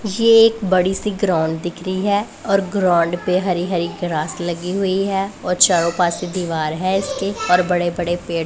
ये एक बड़ी सी ग्राउंड दिख रही है और ग्राउंड पे हरी हरी ग्रास लगी हुई है और चारों पासे दीवार है इसके और बड़े-बड़े पेड़ --